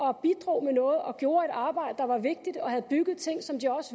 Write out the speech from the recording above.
og bidrog med noget og gjorde et stykke arbejde der var vigtigt og havde bygget ting som de